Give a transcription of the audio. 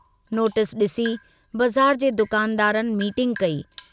Notice DC बज़ार जे दुकानदारनि मीटिंग कई।